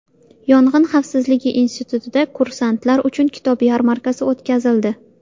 Yong‘in xavfsizligi institutida kursantlar uchun kitob yarmarkasi o‘tkazildi.